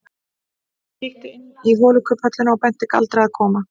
Hún kíkti inn í holukubbhöllina og benti Galdri að koma.